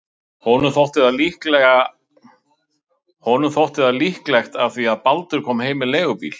Honum þótt það líklegt af því að Baldur kom heim með leigubíl.